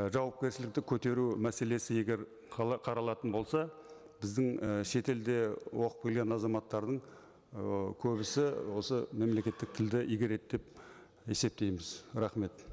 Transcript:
ы жауапкершілікті көтеру мәселесі егер қаралатын болса біздің і шетелде оқып келген азаматтардың ы көбісі осы мемлекеттік тілді игереді деп есептейміз рахмет